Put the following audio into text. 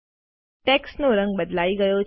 ટેક્સ્ટનો રંગ બદલાઈ ગયો છે